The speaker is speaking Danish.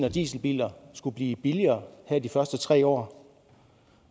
og dieselbiler skulle blive billigere her i de første tre år